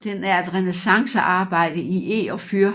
Den er et renæssancearbejde i eg og fyr